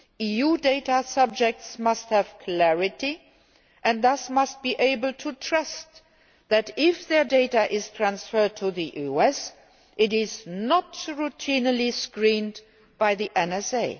EU data subjects must have clarity and must be able to believe that, if their data is transferred to the US, it is not routinely screened by the NSA.